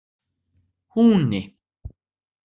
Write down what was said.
Húni